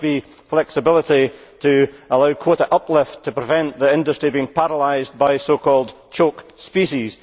There must be flexibility to allow quota uplift to prevent the industry being paralysed by so called choke species'.